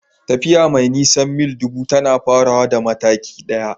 Tafiya mai nisan mil ɗubu tana farawa da mataki ɗaya.